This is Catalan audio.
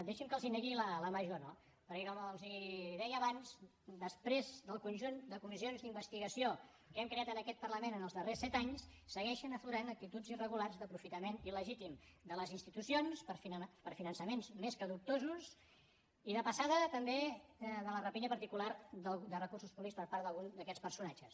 deixin me que els negui la major no perquè com els deia abans després del conjunt de comissions d’investigació que hem creat en aquest parlament en els darrers set anys segueixen aflorant actituds irregulars d’aprofitament il·legítim de les institucions per a finançaments més que dubtosos i de passada també de la rapinya particular de recursos públics per part d’algun d’aquests personatges